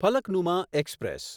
Falaknuma express